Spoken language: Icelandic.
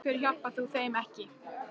Af hverju hjálpar þú þeim ekki?